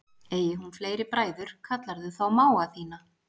Eigi hún fleiri bræður kallarðu þá mága þína.